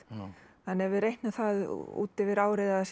þannig að ef við reiknum það út yfir árið að það séu